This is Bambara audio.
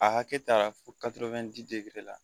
A hakɛ taara fo la